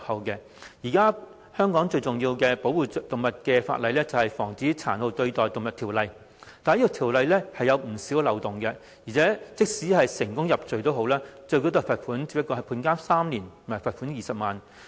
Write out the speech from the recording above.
現時香港最主要保護動物的法例，是《防止殘酷對待動物條例》，但《條例》有不少漏洞，而且即使成功入罪，最高罰則只是判監3年、罰款20萬元。